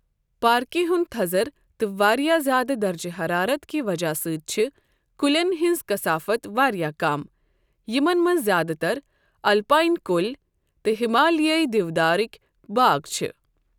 پارکہِ ہُنٛد تھزَر تہٕ واریاہ زِیادٕ درجہٕ حرارت کہِ وجہ سۭتۍ چھِ کُلٮ۪ن ہٕنٛز کثافت واریاہ کم، یِمن منٛز زیادٕ تَر الپائن کُلۍ تہٕ ہمالیٲئی دیودارٕکۍ باغ چھِ۔ ۔